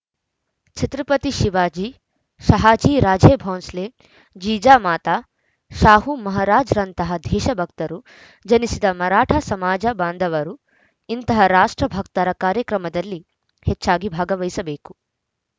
ಛತ್ರಪತಿ ಶಿವಾಜಿ ಶಹಾಜಿ ರಾಜೇ ಬೌಂಸ್ಲೆ ಜೀಜಾಮಾತ ಶಾಹು ಮಹಾರಾಜ್‌ರಂತಹ ದೇಶ ಭಕ್ತರು ಜನಿಸಿದ ಮರಾಠ ಸಮಾಜ ಬಾಂಧವರು ಇಂತಹ ರಾಷ್ಟ್ರ ಭಕ್ತರ ಕಾರ್ಯಕ್ರಮದಲ್ಲಿ ಹೆಚ್ಚಾಗಿ ಭಾಗವಹಿಸಬೇಕು